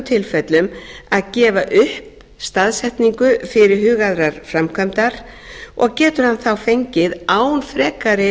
tilfellum að gefa upp staðsetningu fyrirhugaðrar framkvæmdar og getur hann þá fengið án frekari